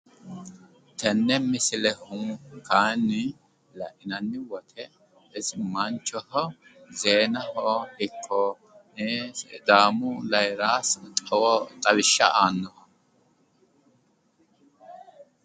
Tenne misilehu kaayiinni lainanni wote isi manchoho zeenaho sidaamu rayiira xawishsha aannoho